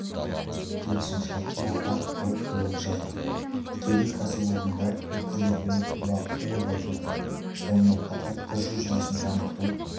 келісімшарттарға қол қойылып жатыр тікелей кәсіпорында өткізілетін оқу уақыты ұлғайтылды сонымен қатар тж жүйесін жаңғырту